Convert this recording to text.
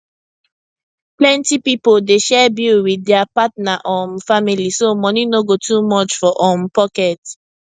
plenty pipo dey share bill with their partner um family so money no go too much for um pocket